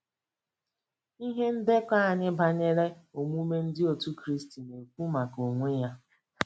Ihe ndekọ anyị banyere omume Ndị Otú Kristi na-ekwu maka onwe ya.